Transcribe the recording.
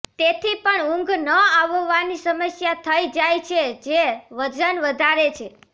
તેથી પણ ઉંઘ ન આવવાની સમસ્યા થઈ જાય છે જે વજન વધારે છે